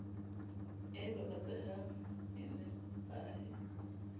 e baba tsehang e nepahe